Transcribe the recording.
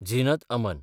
Zeenat Aman